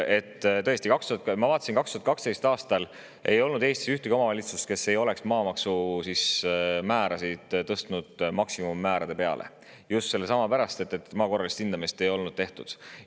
Tõesti, ma vaatasin, et 2012. aastal ei olnud Eestis ühtegi omavalitsust, kes ei oleks tõstnud maamaksumäära maksimumi peale, just selle pärast, et maa korralist hindamist ei olnud tehtud.